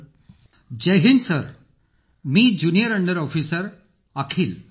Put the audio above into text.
अखिल जय हिंद सर माझं नाव ज्युनिअर अंडर ऑफिसर अखिल आहे